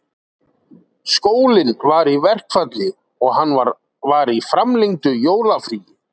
Skólinn var í verkfalli og hann var í framlengdu jólafríi